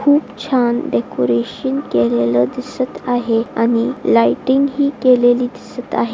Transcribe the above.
खूप छान डेकोरेशन केलेलं दिसत आहे आणि लायटिंग ही केलेली दिसत आहे.